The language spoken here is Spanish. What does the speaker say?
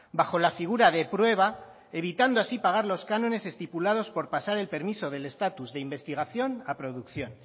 bajo la figura de prueba evitando así pagar los cánones estipulados por pasar el permiso del estatus de investigación a producción